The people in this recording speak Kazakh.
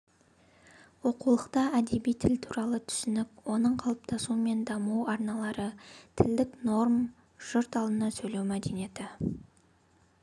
оқулықта әдеби тіл туралы түсінік оның қалыптасуы мен даму арналары тілдік норма жұрт алдында сөйлеу мәдениеті